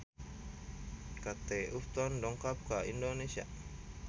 Kate Upton dongkap ka Indonesia